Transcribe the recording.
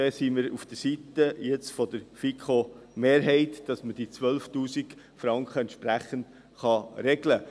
Jetzt sind wir auf der Seite der FiKo-Mehrheit, damit man diese 12’000 Franken entsprechend regeln kann.